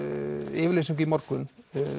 yfirlýsingu í morgun